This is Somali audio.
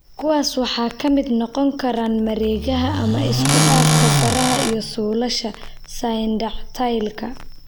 Kuwaas waxaa ka mid noqon kara mareegaha ama isku dhafka faraha iyo suulasha ( syndactylka).